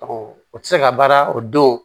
Ɔ o tɛ se ka baara o don